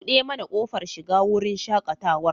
Buɗe mana kofar shiga wurin shaƙatawar.